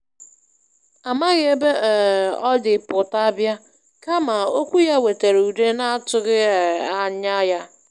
Amaghị ebe um ọ dị pụta bịa, kama okwu ya wetara udo n'atụghị um ányá ya.